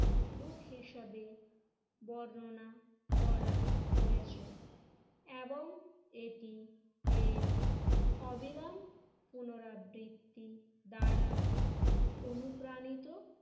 দুঃখ হিসেবে বর্ণনা করা হয়েছে এবং এটি এর অবিরাম পুনরাবৃত্তি দ্বারা অনুপ্রাণিত